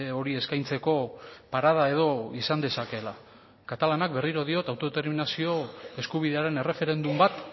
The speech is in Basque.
hori eskaintzeko parada edo izan dezakeela katalanak berriro diot autodeterminazio eskubidearen erreferendum bat